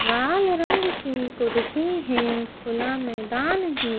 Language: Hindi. लाल रंग की कुर्सी है खुला मैदान हैं।